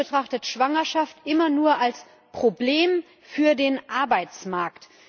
Die EU betrachtet Schwangerschaft immer nur als Problem für den Arbeitsmarkt.